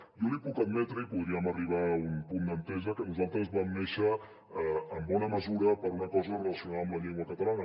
jo li puc admetre i podríem arribar a un punt d’entesa que nosaltres vam néixer en bona mesura per una cosa relacionada amb la llengua catalana